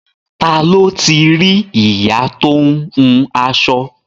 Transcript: Ta ló ti rí ìyá tó ń hun aṣọ?